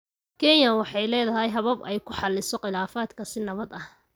Kenya waxay leedahay habab ay ku xalliso khilaafaadka si nabad ah.